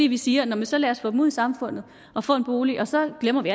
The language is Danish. vi siger nå men så lad os få dem ud i samfundet og få en bolig og så glemmer vi